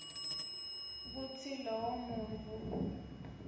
kutsi lowo muntfu